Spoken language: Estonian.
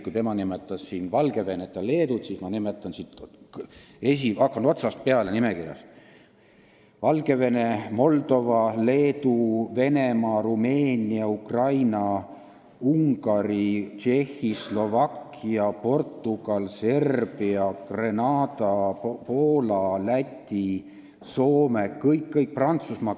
Kui tema nimetas Valgevenet ja Leedut, siis ma nimetan siit, hakkan nimekirja otsast peale: Valgevene, Moldova, Leedu, Venemaa, Rumeenia, Ukraina, Ungari, Tšehhi, Slovakkia, Portugal, Serbia, Grenada, Poola, Läti, Soome, Prantsusmaa.